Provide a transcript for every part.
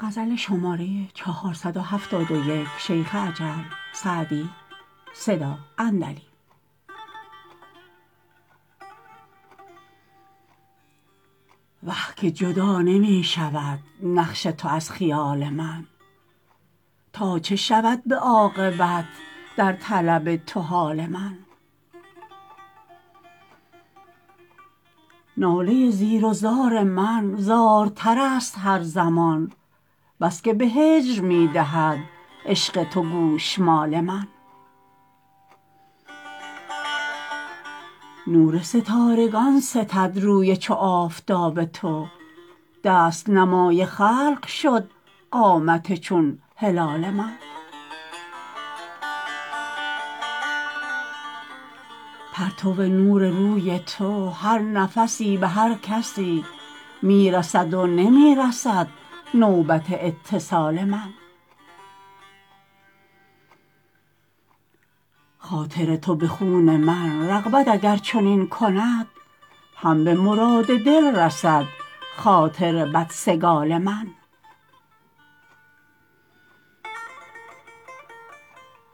وه که جدا نمی شود نقش تو از خیال من تا چه شود به عاقبت در طلب تو حال من ناله زیر و زار من زارتر است هر زمان بس که به هجر می دهد عشق تو گوشمال من نور ستارگان ستد روی چو آفتاب تو دست نمای خلق شد قامت چون هلال من پرتو نور روی تو هر نفسی به هر کسی می رسد و نمی رسد نوبت اتصال من خاطر تو به خون من رغبت اگر چنین کند هم به مراد دل رسد خاطر بدسگال من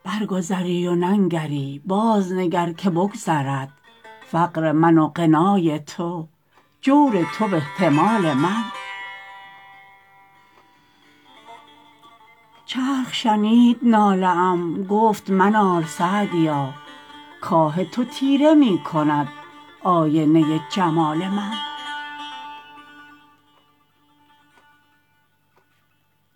برگذری و ننگری بازنگر که بگذرد فقر من و غنای تو جور تو و احتمال من چرخ شنید ناله ام گفت منال سعدیا کآه تو تیره می کند آینه جمال من